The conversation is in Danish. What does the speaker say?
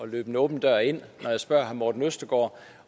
løbe en åben dør ind når jeg spørger herre morten østergaard